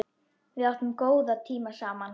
Við áttum góða tíma saman.